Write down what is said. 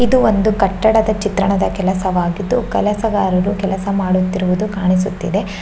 ಇದು ಒಂದು ಕಟ್ಟಡದ ಚಿತ್ರಣದ ಕೆಲಸವಾಗಿದ್ದು ಕೆಲಸಗಾರರು ಕೆಲಸ ಮಾಡುತ್ತಿರುವುದು ಕಾಣಿಸುತ್ತಿದೆ.